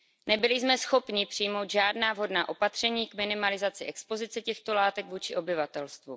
Nebyli jsme schopni přijmout žádná vhodná opatření k minimalizaci expozice těchto látek vůči obyvatelstvu.